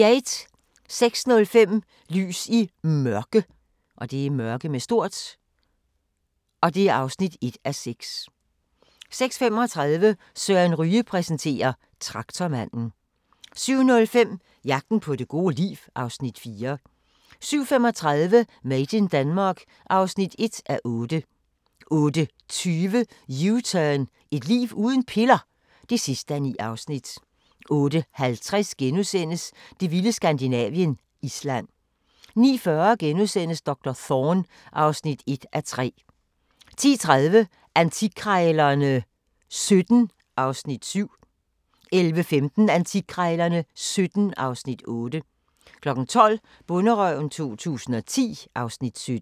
06:05: Lys i Mørke (1:6) 06:35: Søren Ryge præsenterer: Traktormanden 07:05: Jagten på det gode liv (Afs. 4) 07:35: Made in Denmark (1:8) 08:20: U-turn – Et liv uden piller? (9:9) 08:50: Det vilde Skandinavien – Island * 09:40: Doktor Thorne (1:3)* 10:30: Antikkrejlerne XVII (Afs. 7) 11:15: Antikkrejlerne XVII (Afs. 8) 12:00: Bonderøven 2010 (Afs. 17)